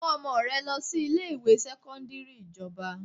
Mú ọmọ rẹ lọ sí ilé ìwé sẹ́kọ́ńdírì ìjọba!